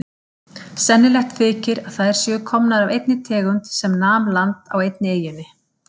Sennilegt þykir að þær séu komnar af einni tegund sem nam land á einni eyjunni.